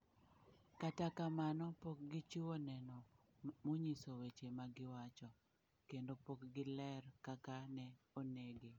Kata kamano, pok gichiwo neno monyiso weche ma giwacho, kendo pok giler kaka ne onege.